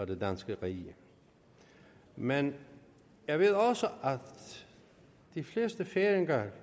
det danske rige men jeg ved også at de fleste færinger